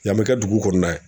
Yan bɛ kɛ dugu kɔnɔna ye.